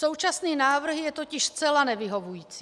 Současný návrh je totiž zcela nevyhovující.